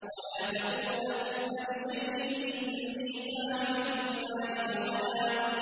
وَلَا تَقُولَنَّ لِشَيْءٍ إِنِّي فَاعِلٌ ذَٰلِكَ غَدًا